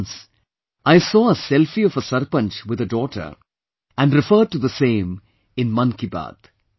Once, I saw a selfie of a sarpanch with a daughter and referred to the same in Mann Ki Baat